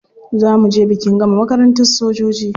Za mu je bikin gama makarantar sojoji.